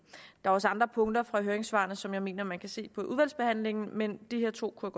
der er også andre punkter fra høringssvarene som jeg mener man kan se på i udvalgsbehandlingen men de her to kunne